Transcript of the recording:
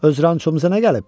Öz rançımıza nə gəlib?